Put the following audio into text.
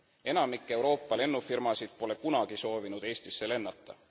Enamik Euroopa lennufirmasid pole kunagi soovinud Eestisse lennata.